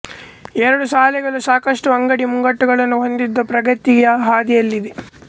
ಎರಡು ಶಾಲೆಗಳು ಸಾಕಷ್ಟು ಅಂಗಡಿ ಮುಂಗಟ್ಟುಗಳನ್ನು ಹೊಂದಿದ್ದು ಪ್ರಗತಿಯ ಹಾದಿಯಲ್ಲಿದೆ